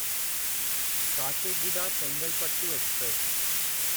Kacheguda Chengalpattu express